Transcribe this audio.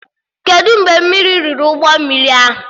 Kedụ mgbe mmiri riri ụgbọ mmiri ahụ?